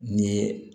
N ye